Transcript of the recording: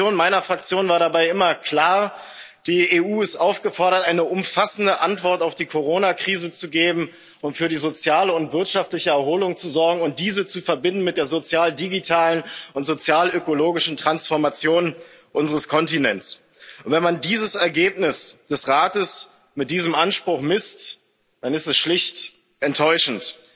Die Position meiner Fraktion war dabei immer klar Die EU ist aufgefordert, eine umfassende Antwort auf die Corona Krise zu geben und für die soziale und wirtschaftliche Erholung zu sorgen und diese mit der sozialdigitalen und sozialökologischen Transformation unseres Kontinents zu verbinden. Wenn man dieses Ergebnis des Europäischen Rates an diesem Anspruch misst, dann ist es schlicht enttäuschend.